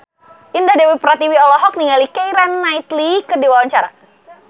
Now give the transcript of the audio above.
Indah Dewi Pertiwi olohok ningali Keira Knightley keur diwawancara